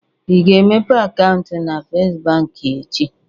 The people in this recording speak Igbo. Ị ga-emepe akaụntụ na First Bank echi?